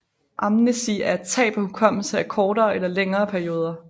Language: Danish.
Amnesi er tab af hukommelse af kortere eller længere perioder